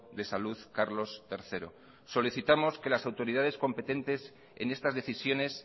de salud carlos tercero solicitamos que las autoridades competentes en estas decisiones